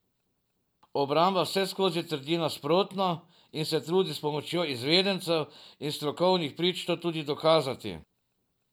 Obramba vseskozi trdi nasprotno in se trudi s pomočjo izvedencev in strokovnih prič to tudi dokazati.